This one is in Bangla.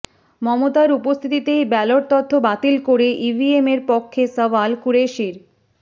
মমতার উপস্থিতিতেই ব্যালট তত্ত্ব বাতিল করে ইভিএমের পক্ষে সওয়াল কুরেশির